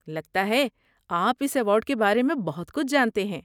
لگتا ہے آپ اس ایوارڈ کے بارے میں بہت کچھ جانتے ہیں۔